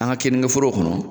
An ga kenike forow kɔnɔ